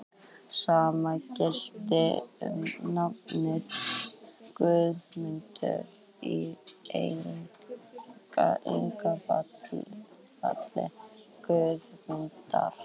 Sama gilti um nafnið Guðmundur, í eignarfalli Guðmundar.